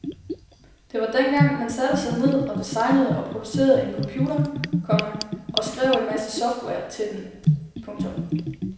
Det var dengang man satte sig ned og designede og producerede en computer, komma og skrev en masse software til den. punktum